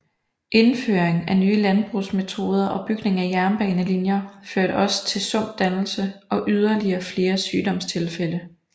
Indføring af nye landbrugsmetoder og bygning af jernbanelinjer førte også til sumpdannelse og yderligere flere sygdomstilfælde